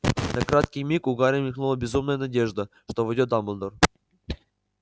на краткий миг у гарри мелькнула безумная надежда что войдёт дамблдор